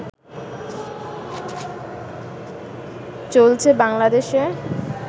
চলছে বাংলাদেশে